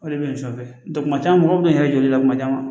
O de bɛ nin fɛn bɛɛ kuma caman mɔgɔw bɛ na i yɛrɛ jɔ la kuma caman